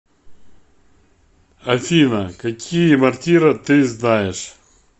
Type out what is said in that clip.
афина какие мортира ты знаешь